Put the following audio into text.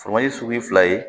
Foro sugu ye fila ye